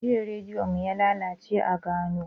Jiya rediyo mu yalalace a gona.